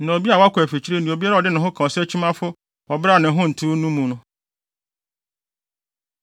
ne ɔbea a wakɔ afikyiri ne obiara a ɔde ne ho ka ɔsakyimafo wɔ bere a ne ho ntew no mu no.